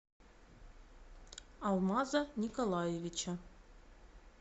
алмаза николаевича